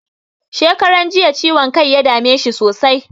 Shekaran jiya ciwon kai ya dame shi sosai.